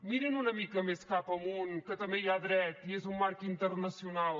mirin una mica més cap amunt que també hi ha dret i és un marc internacional